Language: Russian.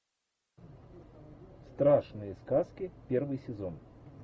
страшные сказки первый сезон